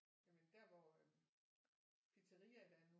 Jamen der hvor pizzariaet er nu